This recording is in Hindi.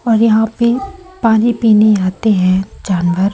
और यहां पे पानी पीने आते हैं जानवर।